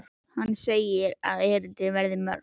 Hann segir að erindin verði mörg.